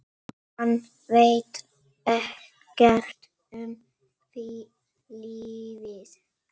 Hann veit ekkert um lífið.